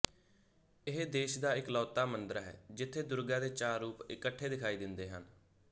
ਇਹ ਦੇਸ਼ ਦਾ ਇਕਲੌਤਾ ਮੰਦਰ ਹੈ ਜਿਥੇ ਦੁਰਗਾ ਦੇ ਚਾਰ ਰੂਪ ਇਕੱਠੇ ਦਿਖਾਈ ਦਿੰਦੇ ਹਨ